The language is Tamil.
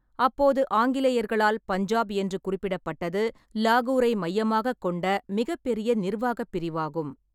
அப்போது ஆங்கிலேயர்களால் பஞ்சாப் என்று குறிப்பிடப்பட்டது லாகூரை மையமாகக் கொண்ட மிகப் பெரிய நிர்வாகப் பிரிவாகும்.